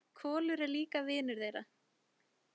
Kolur er líka vinur þeirra.